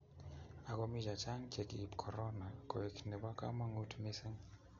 ak ko mi chechang che ki ib korona koek nebo kamangut mising